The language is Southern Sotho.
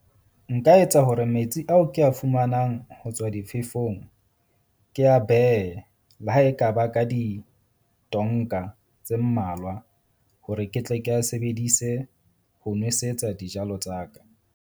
Nka etsa hore metsi ao ke a fumanang ho tswa difefong, ke a behe le ha e ka ba ka ditonka tse mmalwa hore ke tle ke a sebedise ho nwesetsa dijalo tsa ka.